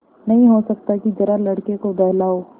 नहीं हो सकता कि जरा लड़के को बहलाओ